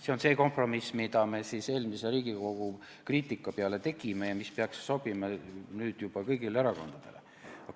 See on see kompromiss, mille me eelmise Riigikogu kriitika peale tegime ja mis peaks sobima kõigile erakondadele.